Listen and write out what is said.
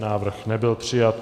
Návrh nebyl přijat.